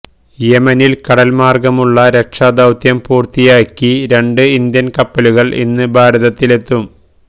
യെമനില് കടല്മാര്ഗ്ഗമുള്ള രക്ഷാദൌത്യം പൂര്ത്തിയാക്കി രണ്ട് ഇന്ത്യന് കപ്പലുകള് ഇന്ന് ഭാരതത്തിലെത്തും